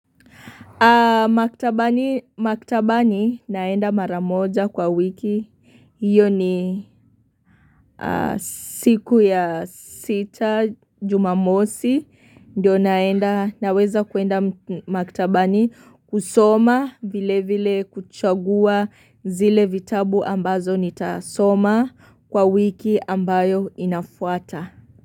Maktabani naenda mara moja kwa wiki, iyo ni siku ya sita jumamosi, ndio naenda naweza kuenda maktabani kusoma vile vile kuchagua zile vitabu ambazo nitasoma kwa wiki ambayo inafuata.